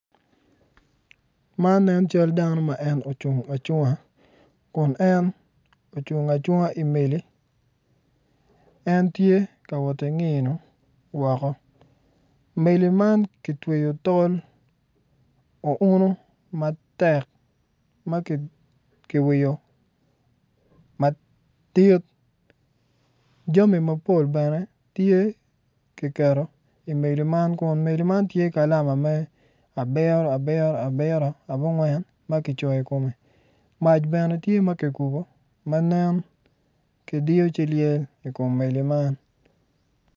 Man cal dano ma ocung acung i meli en tye ka wot ki ngiyo woko yeya man ki twero ki tol unu ma kiwiyo madit mac bene tye kikubo ma ki diyo ci lyel.